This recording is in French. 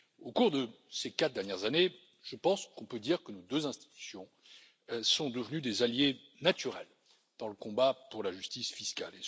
Au cours de ces quatre dernières années, je pense que nous pouvons dire que nos deux institutions sont devenues des alliés naturels dans le combat pour la justice fiscale.